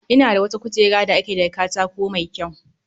Ina da wata kujera da aka yi daga katako mai kyau